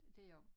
Det jeg også